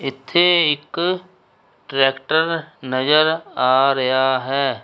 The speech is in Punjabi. ਇੱਥੇ ਇੱਕ ਟਰੈਕਟਰ ਨਜ਼ਰ ਆ ਰਿਹਾ ਹੈ। '